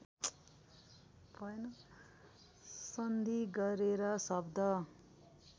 सन्धि गरेर शब्द